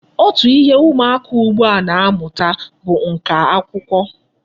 Otu ihe ụmụaka ugbua a na-amụta bụ nka akwụkwọ.